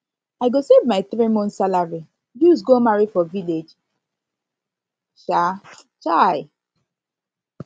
i go save my three months salary use go marry for village um um